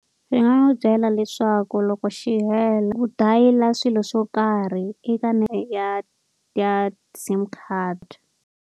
Ni nga n'wi byela leswaku loko xi hela u dayila swilo swo karhi eka ya ya SIM card.